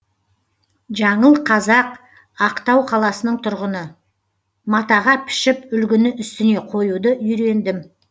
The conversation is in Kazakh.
жаңыл қазақ ақтау қаласының тұрғыны матаға пішіп үлгіні үстіне қоюды үйрендім